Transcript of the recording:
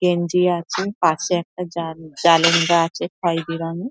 গেঞ্জি আছে পাশে একটা জান জালেঙ্গা আছে খয়েরি রঙের ।